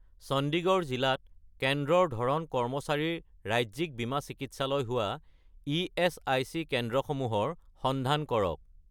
চণ্ডীগড় জিলাত কেন্দ্ৰৰ ধৰণ কৰ্মচাৰীৰ ৰাজ্যিক বীমা চিকিৎসালয় হোৱা ইএচআইচি কেন্দ্ৰসমূহৰ সন্ধান কৰক